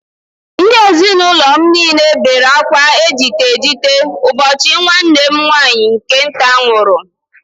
Ndị ezinụlọ m niile bere akwa ejite ejite ụbọchị nwanne m nwaanyị nke nta nwụrụ